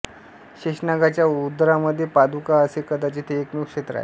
शेषनागाच्या उदरामध्ये पादुका असे कदाचित हे एकमेव क्षेत्र आहे